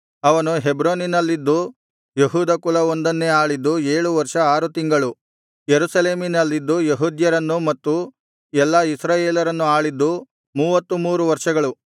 ಅವನು ಹೆಬ್ರೋನಿನಲ್ಲಿದ್ದು ಯೆಹೂದ ಕುಲವೊಂದನ್ನೇ ಆಳಿದ್ದು ಏಳು ವರ್ಷ ಆರು ತಿಂಗಳು ಯೆರೂಸಲೇಮಿನಲ್ಲಿದ್ದು ಯೆಹೂದ್ಯರನ್ನು ಮತ್ತು ಎಲ್ಲಾ ಇಸ್ರಾಯೇಲರನ್ನು ಆಳಿದ್ದು ಮೂವತ್ತು ಮೂರು ವರ್ಷಗಳು